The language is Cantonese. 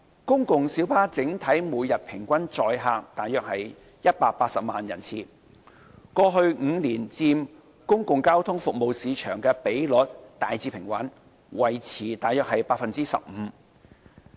公共小巴整體每天平均載客約180萬人次，過去5年佔公共交通服務市場的比率大致平穩，維持約 15%。